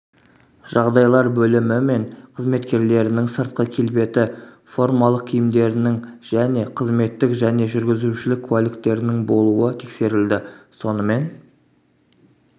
жағдайлар бөлімімен қызметкерлерінің сыртқы келбеті формалық киімдерінің және қызметтік және жүргізушілік куәліктерінің болуы тексерілді сонымен